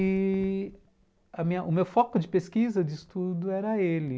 E... a minha, o meu foco de pesquisa, de estudo, era ele...